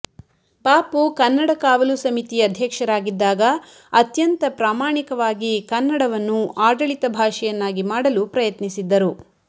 ಪಾಪು ಕನ್ನಡ ಕಾವಲು ಸಮಿತಿ ಅಧ್ಯಕ್ಷರಾಗಿದ್ದಾಗ ಅತ್ಯಂತ ಪ್ರಾಮಾಣಿಕವಾಗಿ ಕನ್ನಡವನ್ನು ಆಡಳಿತ ಭಾಷೆಯನ್ನಾಗಿ ಮಾಡಲು ಪ್ರಯತ್ನಿಸಿದ್ದರು